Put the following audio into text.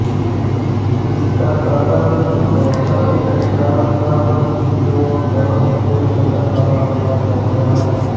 इसका कारण प्रतिन्यूट्रॉन का प्रतिक्वार्क कणों से मिलकर बना होना है